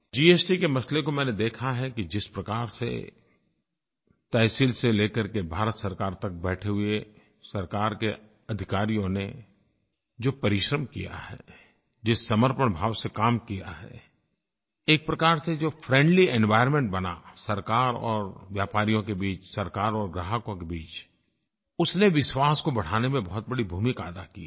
GST के मसले को मैंने देखा है कि जिस प्रकार से तहसील से ले करके भारत सरकार तक बैठे हुए सरकार के अधिकारियों ने जो परिश्रम किया है जिस समर्पण भाव से काम किया है एक प्रकार से जो फ्रेंडली एनवायर्नमेंट बना सरकार और व्यापारियों के बीच सरकार और ग्राहकों के बीच उसने विश्वास को बढ़ाने में बहुत बड़ी भूमिका अदा की है